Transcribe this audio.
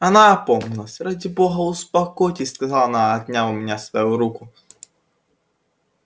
она опомнилась ради бога успокойтесь сказала она отняв у меня свою руку